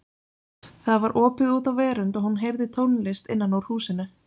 Það var opið út á verönd og hún heyrði tónlist innan úr húsinu.